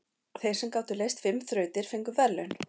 Þeir sem gátu leyst fimm þrautir fengu verðlaun.